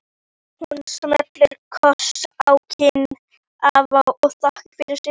Hún smellir kossi á kinn afa og þakkar fyrir sig.